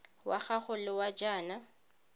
wa gago wa ga jaana